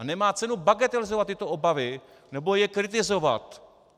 A nemá cenu bagatelizovat tyto obavy nebo je kritizovat.